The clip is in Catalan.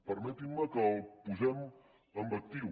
permetin me que el posem en actiu